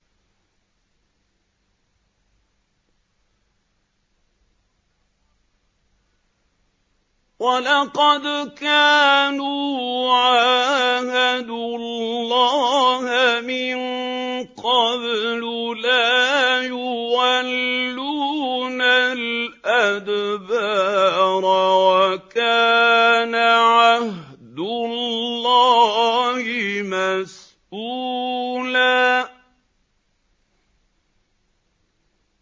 وَلَقَدْ كَانُوا عَاهَدُوا اللَّهَ مِن قَبْلُ لَا يُوَلُّونَ الْأَدْبَارَ ۚ وَكَانَ عَهْدُ اللَّهِ مَسْئُولًا